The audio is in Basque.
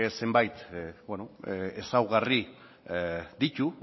zenbait ezaugarri ditu